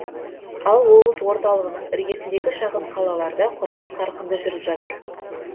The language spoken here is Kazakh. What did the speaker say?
ал облыс орталығының іргесіндегі шағын қалаларда құрылыс қарқынды жүріп жатыр